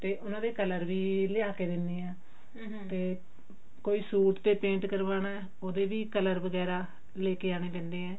ਤੇ ਉਹਨਾਂ ਦੇ color ਵੀ ਲਿਆ ਕੀ ਦਿੰਨੀ ਆ ਤੇ ਕੋਈ ਸੂਟ ਤੇ paint ਕਰਵਾਉਣਾ ਉਹਦੇ ਵੀ color ਵਗੇਰਾ ਲੈ ਕੇ ਆਉਣੇ ਪੈਂਦੇ ਆ